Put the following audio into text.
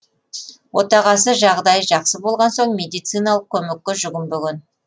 отағасы жағдайы жақсы болған соң медициналық көмекке жүгінбеген